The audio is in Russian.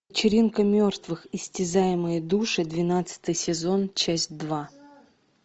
вечеринка мертвых истязаемые души двенадцатый сезон часть два